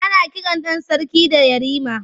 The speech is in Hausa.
Ana kiran ɗan sarki da Yarima.